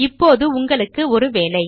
இப்பொழுது உங்களுக்கு ஒரு வேலை